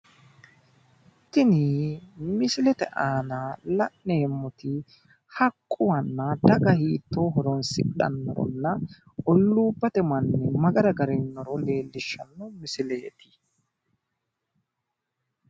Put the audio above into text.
Tini misilete aana la'neemmoti haqquwanna daga hiittoo horonsidhannoronna olluubate manni ma gara agrainoro leellishshanno misileeti.